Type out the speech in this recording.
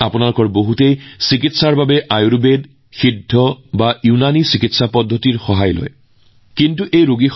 আপোনালোকৰ মাজত আয়ুৰ্বেদ সিদ্ধ বা ইউনানী ব্যৱস্থাৰ চিকিৎসা পদ্ধতিৰ পৰা সহায় লোৱা বহু লোক থাকিব পাৰে